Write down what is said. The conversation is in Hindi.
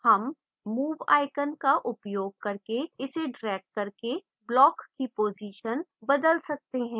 हम move icon का उपयोग करके इस ड्रैग करके block की position बदल सकते हैं